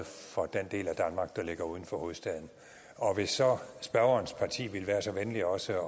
for den del af danmark der ligger uden for hovedstaden og hvis så spørgerens parti ville være så venlige også at